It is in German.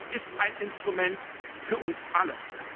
Aber es ist ein Instrument für uns alle.